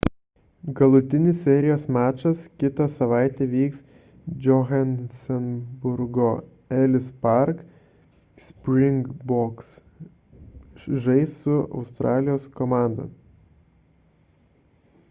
galutinis serijos mačas kitą savaitę vyks johanesburgo ellis park – springboks žais su australijos komanda